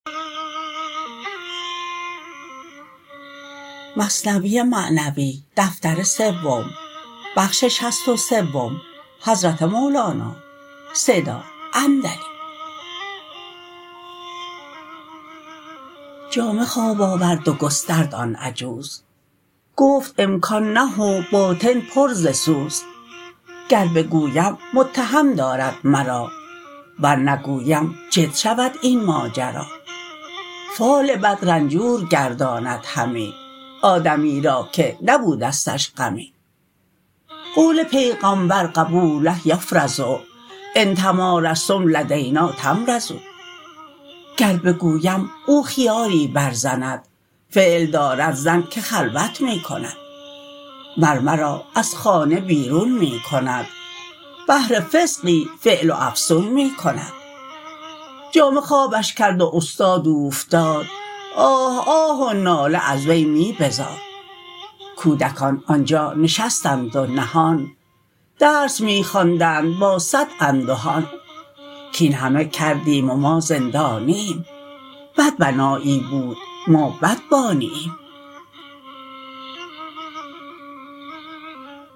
جامه خواب آورد و گسترد آن عجوز گفت امکان نه و باطن پر ز سوز گر بگویم متهم دارد مرا ور نگویم جد شود این ماجرا فال بد رنجور گرداند همی آدمی را که نبودستش غمی قول پیغامبر قبوله یفرض ان تمارضتم لدینا تمرضوا گر بگویم او خیالی بر زند فعل دارد زن که خلوت می کند مر مرا از خانه بیرون می کند بهر فسقی فعل و افسون می کند جامه خوابش کرد و استاد اوفتاد آه آه و ناله از وی می بزاد کودکان آنجا نشستند و نهان درس می خواندند با صد اندهان کین همه کردیم و ما زندانییم بد بنایی بود ما بد بانییم